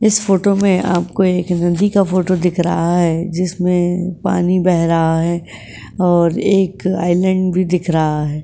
इस फोटो में आपको एक नदी का फोटो दिख रहा है जिसमें पानी बह रहा है और एक आइलैंड भी दिख रहा है ।